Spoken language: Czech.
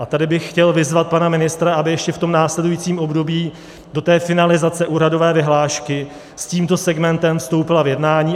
A tady bych chtěl vyzvat pana ministra, aby ještě v tom následujícím období do té finalizace úhradové vyhlášky s tímto segmentem vstoupil v jednání.